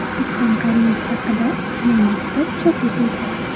Islom Karimov haqida yangi kitob chop etildi.